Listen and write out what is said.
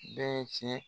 Bɛɛ ye tiɲɛ ye